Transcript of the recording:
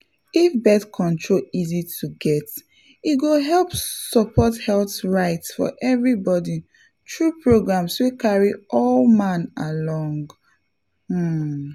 if birth control easy to get e go help support health rights for everybody through programs wey carry all man along — um.